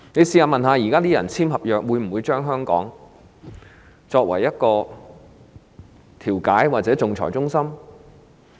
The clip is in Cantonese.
試問現在簽訂合約的人，會否將香港作為調解或仲裁中心？